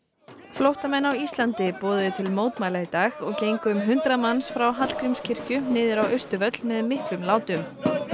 flóttamenn á Íslandi boðuðu til mótmæla í dag og gengu um hundrað manns frá Hallgrímskirkju niður á Austurvöll með miklum látum